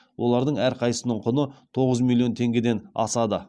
олардың әрқайсысының құны тоғыз миллион теңгеден асады